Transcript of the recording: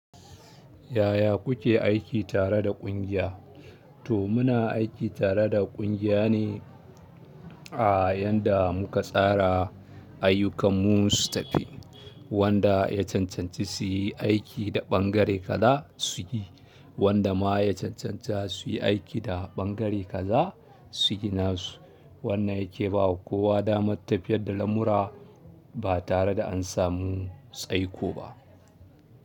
Yaya kuke aiki tare da ƙungiya? To muna aiki tare da ƙungiya ne, a yanda muka tsara ayyukan mu su tafi wanda ya cancanci su yi aiki da ɓangare kaza, su yi, wanda ma ya cancanta su yi aiki da ɓangare kaza su gina su. Wannan yake bawa kowa damar tafiyarda lamura ba tare da an samu tsaiko ba.